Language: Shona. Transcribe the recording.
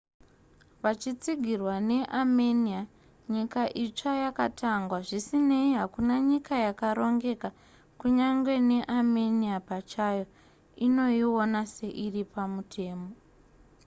vachitsigirwa neamenia nyika itsva yakatangwa zvisinei hakuna nyika yakarongeka kunyange neamenia pachayo inoiona seiri pamutemo